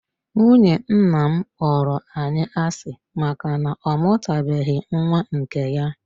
Nwunye nna m kpọrọ anyị asị maka na ọ mụtabeghị nwa nke ya.